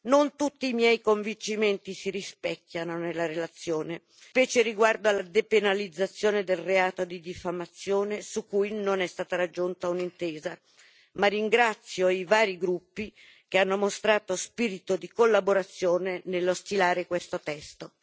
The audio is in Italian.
Non tutti i miei convincimenti si rispecchiano nella relazione, specie riguardo alla depenalizzazione del reato di diffamazione, su cui non è stata raggiunta un'intesa, ma ringrazio i vari gruppi, che hanno mostrato spirito di collaborazione nello stilare questo testo.